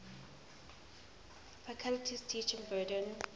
faculty's teaching burden